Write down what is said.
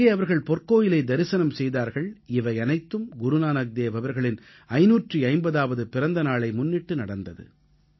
அங்கே அவர்கள் பொற்கோயிலை தரிசனம் செய்தார்கள் இவையனைத்தும் குருநானக்தேவ் அவர்களின் 550ஆவது பிறந்த நாளை முன்னிட்டு நடந்தது